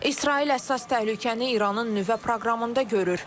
İsrail əsas təhlükəni İranın nüvə proqramında görür.